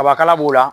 Kabakala b'u la